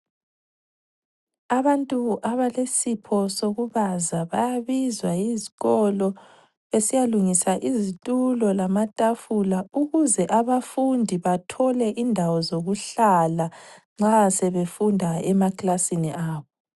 Abantu abalesipho sokubaza bayabizwa yizikolo besiyalungisa izitulo lamatafula ukuze abafundi bathole indawo zokuhlala nxa sebefunda emaklasini abo